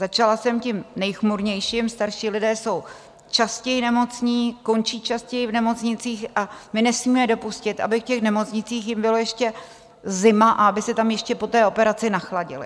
Začala jsem tím nejchmurnějším - starší lidé jsou častěji nemocní, končí častěji v nemocnicích a my nesmíme dopustit, aby v těch nemocnicích jim bylo ještě zima a aby se tam ještě po té operaci nachladili.